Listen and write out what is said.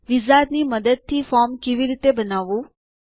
વિઝાર્ડની મદદથી ફોર્મ કેવી રીતે બનાવવું